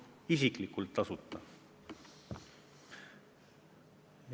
Isiklikult täiesti tasuta!